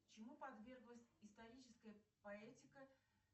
чему подверглась историческая поэтика